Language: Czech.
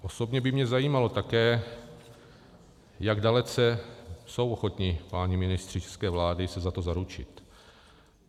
Osobně by mě zajímalo také, jak dalece jsou ochotni páni ministři české vlády se za to zaručit.